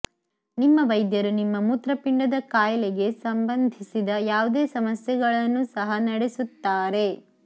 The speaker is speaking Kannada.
ನಿಮ್ಮ ವೈದ್ಯರು ನಿಮ್ಮ ಮೂತ್ರಪಿಂಡದ ಕಾಯಿಲೆಗೆ ಸಂಬಂಧಿಸಿದ ಯಾವುದೇ ಸಮಸ್ಯೆಗಳನ್ನೂ ಸಹ ನಡೆಸುತ್ತಾರೆ